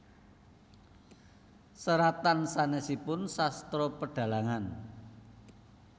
Seratan sanèsipun Sastra Pedhalangan